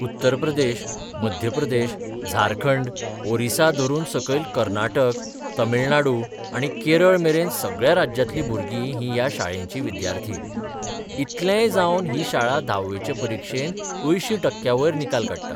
उत्तर प्रदेश, मध्य प्रदेश, झारखंड, ओरिसा धरून सकयल कर्नाटक, तामिळनाडू आनी केरळ मेरेन सगळ्या राज्यांतली भुरगीं ह्रीं ह्या शाळेचीं विद्यार्थी इतलेंय जावन ही शाळा धावेचे परिक्षेत 80 टक्क्यांवयर निकाल काडटा.